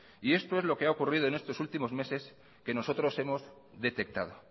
y esto es lo que ha ocurrido en estos últimos meses que nosotros hemos detectado